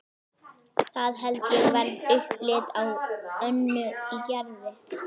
Það held ég verði upplit á Önnu í Gerði.